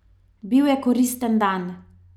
Bil je koristen dan.